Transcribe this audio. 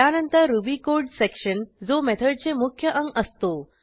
यानंतर Ruby code section जो मेथडचे मुख्य अंग असतो